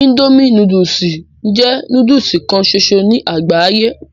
Indomie núdúsì ń jẹ́ núdúsì kan ṣoṣo ní àgbáyé